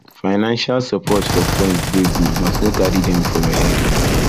financial support for friends dey good but no carry dem for your head